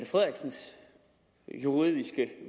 frederiksens juridiske